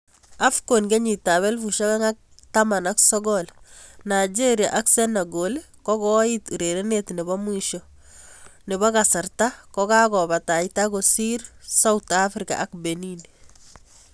AFCON 2019: Nigeria ak Senegal kokoit urerenet nebo mwisho ab kasarta kokakopata kosir South Africa ak Benin.